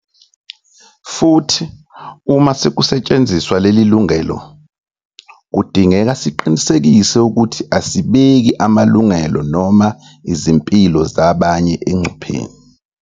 Futhi uma sekusetshenziswa leli lungelo, kudingeka siqiniseke ukuthi asibeki amalungelo noma izimpilo zabanye engcupheni.